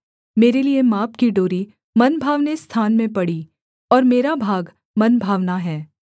मेरे लिये माप की डोरी मनभावने स्थान में पड़ी और मेरा भाग मनभावना है